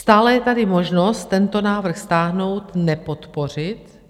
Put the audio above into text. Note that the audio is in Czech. Stále je tady možnost tento návrh stáhnout, nepodpořit,